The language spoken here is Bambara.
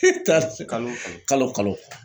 kalo kalo.